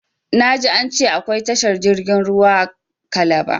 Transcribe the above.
Na ji an ce akwai tashar jirgin ruwa kalaba